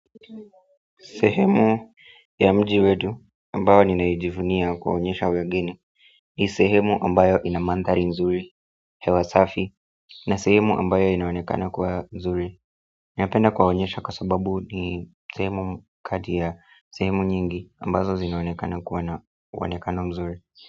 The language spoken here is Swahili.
Sehemu ya mji wetu ambayo ninaijivunia kuwa onyesha wageni ni sehemu ambayo inamandhari nzuri, hewa safi na sehemu ambayo inaonekana kuwa zuri. Niapenda kuwa onyesha kwa sababu ni sehemu kati ya sehemu nyingi ambazo zinaonekana kuwa na uonekano mzuri.